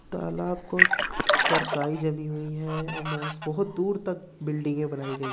पर काई जमीं हुई है। बहुत दूर तक बिल्डिंगे बनाई गयी हैं।